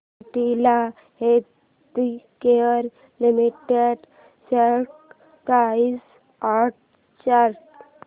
Cadila healthcare limited stock price and chart